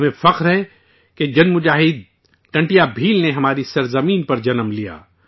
ہمیں فخر ہے کہ جن جانباز ٹنٹیا بھیل نے ہماری سرزمین پر جنم لیا